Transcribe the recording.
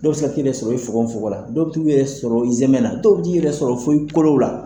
Dɔw be se k'i yɛrɛ sɔrɔ i fogon fogon la, dɔw bi t'u yɛrɛ sɔrɔ i zɛnɛ na ,dɔw b'i yɛrɛ sɔrɔ fo i kolow la.